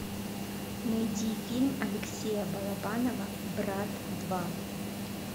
найди фильм алексея балабанова брат два